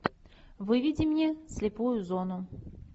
выведи мне слепую зону